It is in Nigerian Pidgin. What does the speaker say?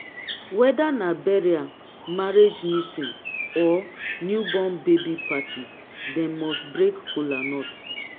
weda na burial marriage meetin or new born baby party dem must break kolanut